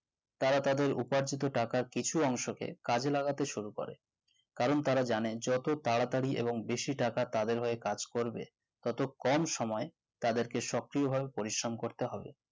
তারা দাতের উপার্জিত টাকার কিছু অংশকে কাজে লাগাতে শুরু করে কারণ তারা জানে যত তাড়াতাড়ি এবং বেশি টাকা তাদের হয়ে কাজ করবে তত কম সময়ে তাদের সক্রিয় পরিশ্রম করতে হবে